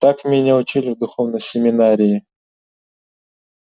так меня учили в духовной семинарии